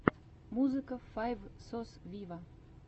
музыка файв сос виво